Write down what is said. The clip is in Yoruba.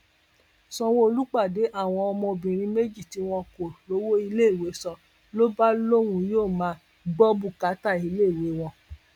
ṣáwọlù pàdé àwọn ọmọbìnrin méjì tí wọn kò rówó iléèwé san ló bá lóun yóò máa gbọ bùkátà iléèwé wọn